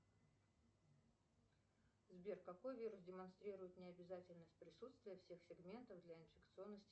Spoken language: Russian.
сбер какой вирус демонстрирует необязательность присутствия всех сегментов для инфекционности